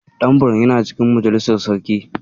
Dan Buram yana cikin majalisar sarki.